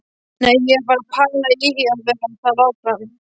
Nei, ég er að pæla í að vera þar áfram.